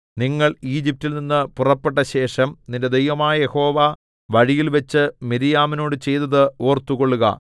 നിങ്ങൾ ഈജിപ്റ്റിൽനിന്നു പുറപ്പെട്ടശേഷം നിന്റെ ദൈവമായ യഹോവ വഴിയിൽവച്ച് മിര്യാമിനോടു ചെയ്തത് ഓർത്തുകൊള്ളുക